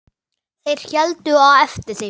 Þeir héldu á eftir þeim!